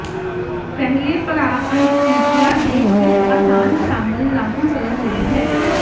ਪਹਿਲੇ ਪੜਾਅ ਅਨੱਸਥੀਸੀਆ ਦੇ ਇੱਕ ਆਸਾਨ ਸ਼ਾਮਲ ਲਾਗੂ ਕਰਨ ਲਈ ਹੈ